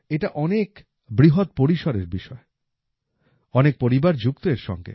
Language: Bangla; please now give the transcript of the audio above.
এটা অনেক বৃহৎ পরিসরের বিষয় অনেক পরিবার যুক্ত এর সঙ্গে